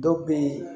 Dɔw be ye